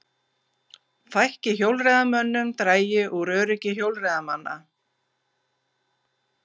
Fækki hjólreiðamönnum dragi úr öryggi hjólreiðamanna